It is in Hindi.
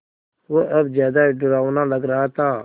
वह अब ज़्यादा डरावना लग रहा था